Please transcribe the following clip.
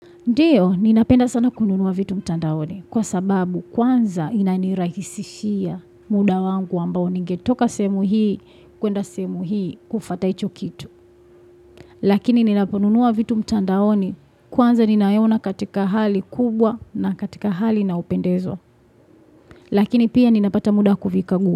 Ndiyo, ninapenda sana kununua vitu mtandaoni, kwa sababu kwanza inanirahisishia muda wangu ambao ningetoka semu hii, kwenda semu hii, kufataicho kitu. Lakini ninaponunua vitu mtandaoni, kwanza ni nayo ona katika hali kubwa na katika hali inayo pendezwa. Lakini pia ninapata muda kuvikagua.